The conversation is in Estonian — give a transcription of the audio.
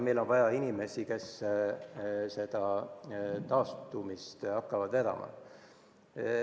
Meil on vaja inimesi, kes seda taastumist hakkavad vedama.